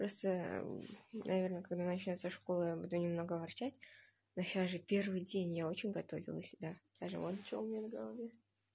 просто наверное когда начинается школа я буду немного ворчать но сейчас же первый день я очень готовилась да даже вон что у меня на голове